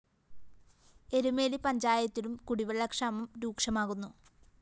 എരുമേലി പഞ്ചായത്തിലും കുടിവെള്ളക്ഷാമം രൂക്ഷമാകുന്നു